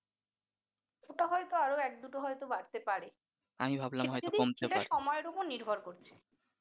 ওইটা হয়তো আরো এক দুটো আরও বাড়তে পারে সেটা সময়ের উপর নির্ভর করছে ।